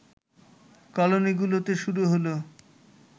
কলোনিগুলোতে শুরু হলো